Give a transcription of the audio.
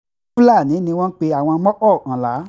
fúlààní ni wọ́n pe àwọn mọ́kọ̀ọ̀kànlá